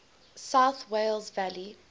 south wales valleys